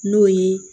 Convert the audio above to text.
N'o ye